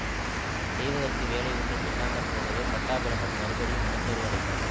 செய்வதற்கு வேலை ஒன்றும் இல்லாமற்போகவே பட்டாபிராமன் மறுபடியும் மனச் சோர்வு அடைந்தான்